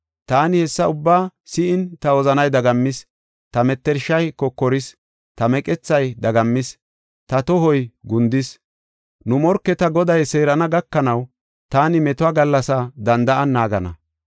Taani hessa ubbaa si7in ta wozanay dagammis; ta mettershay kokoris. Ta meqethay dagammis; ta tohoy gundis. Nu morketa Goday seerana gakanaw, taani metuwa gallasaa danda7an naagana.